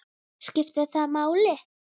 skiptir það máli?